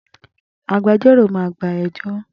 Agbẹjọ́rò máa gba ẹjọ́